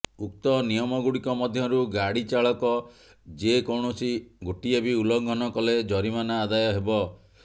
ଉକ୍ତ ନିୟମଗୁଡ଼ିକ ମଧ୍ୟରୁ ଗାଡ଼ି ଚାଳକ ଯେକୌଣସି ଗୋଟିଏ ବି ଉଲ୍ଲଂଘନ କଲେ ଜରିମାନା ଆଦାୟ ହେବ